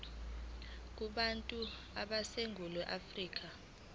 kubantu baseningizimu afrika